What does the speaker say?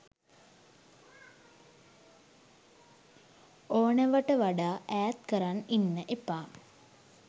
ඕනවට වඩා ඈත් කරන් ඉන්න එපා.